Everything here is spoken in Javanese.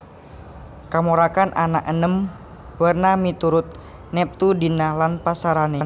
Kamarokan ana enem werna miturut neptu dina lan pasarané